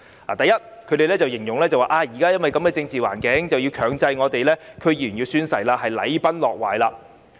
第一，他們形容在目前的政治環境下，強制區議員宣誓是禮崩樂壞。